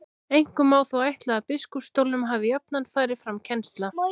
Einkum má þó ætla að á biskupsstólunum hafi jafnan farið fram kennsla.